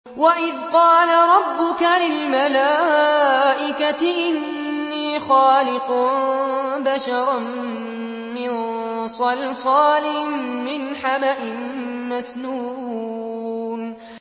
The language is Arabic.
وَإِذْ قَالَ رَبُّكَ لِلْمَلَائِكَةِ إِنِّي خَالِقٌ بَشَرًا مِّن صَلْصَالٍ مِّنْ حَمَإٍ مَّسْنُونٍ